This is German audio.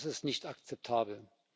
Das ist nicht akzeptabel.